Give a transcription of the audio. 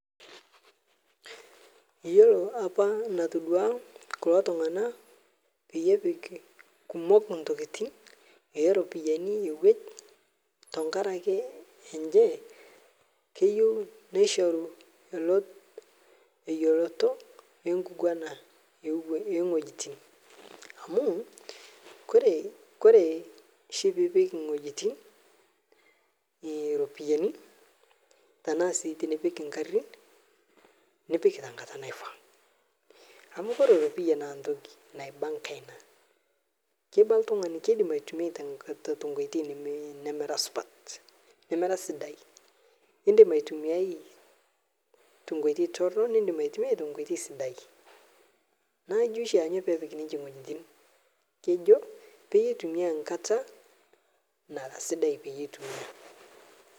Yiolo apa enatoduo kulo tung'ana lee epik eropiani ewueji tenkaraki enye keyieu nishoru eyioloti enkiguana oo wuejitin amu ore oshi lee epik ewuejitin eropiani tenaa esiatin egarin nipik tenkata naifaa amu ore eropia naa entoki naiba enkaina kiba oltung'ani kidim aitumia tenkoitoi nemera supat edim aitumia tenkoitoi torok nidim aitumia tenkoitoi sidai naa ijio oshi pee epik ewuejitin kejo pee etumia enkatanara sidai pee etumia